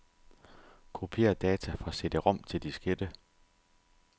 Kopier data fra cd-rom til diskette.